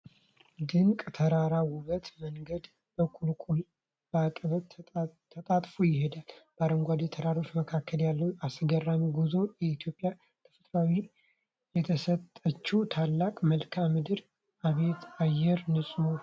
ድንቅ የተራራ ውበት! መንገዱ በቁልቁለትና በአቀበት ተጣጥፎ ይሄዳል! በአረንጓዴ ተራሮች መካከል ያለው አስገራሚ ጉዞ! የኢትዮጵያ ተፈጥሮ የሰጠችን ታላቅ መልክዓ ምድር! አቤት የአየር ንጽህና!